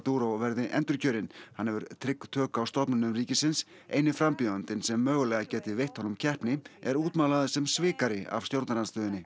Maduro verði endurkjörinn hann hefur trygg tök á stofnunum ríkisins eini frambjóðandinn sem mögulega gæti veitt honum keppni er sem svikari af stjórnarandstöðunni